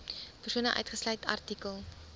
persone uitgesluit artikel